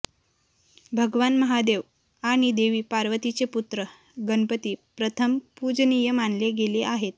भगवान महादेव आणि देवी पार्वतीचे पुत्र गणपती प्रथम पूजनीय मानले गेले आहेत